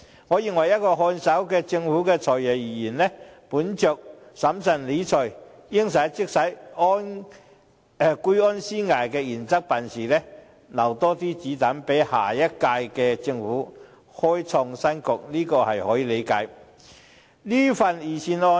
我認為，以一個看守政府的"財爺"而言，本着審慎理財、"應使則使"、居安思危的原則辦事，留下更多"子彈"給下屆政府開創新局，這可以理解。